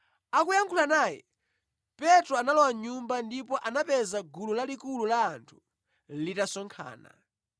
Akuyankhula naye, Petro analowa mʼnyumba ndipo anapeza gulu lalikulu la anthu litasonkhana.